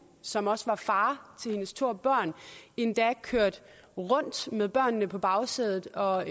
som også var far til hendes to børn endda kørt rundt med børnene på bagsædet og